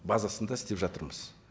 базасында істеп жатырмыз